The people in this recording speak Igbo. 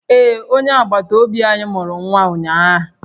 Ee, onye agbata obi anyị mụrụ nwa ụnyaahụ